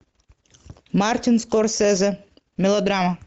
мартин скорсезе мелодрама